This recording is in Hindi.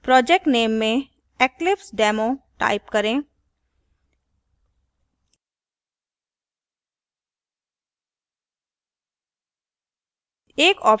project नेम में eclipsedemo type करें